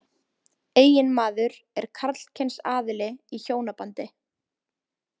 Eiginmaður er karlkyns aðili í hjónabandi.